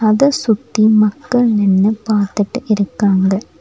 அத சுத்தி மக்கள் நின்னு பாத்துட்டு இருக்காங்க.